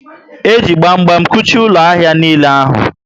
E ji gbam gbam kuchie ụlọ ahịa niile ahụ